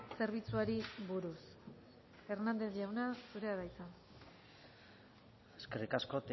zerbitzuari buruz hernández jauna zurea da hitza eskerrik asko